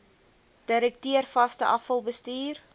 direkteur vaste afvalbestuur